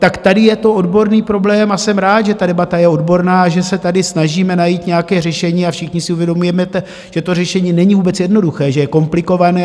Tak tady je to odborný problém a jsem rád, že ta debata je odborná, že se tady snažíme najít nějaké řešení a všichni si uvědomujeme, že to řešení není vůbec jednoduché, že je komplikované.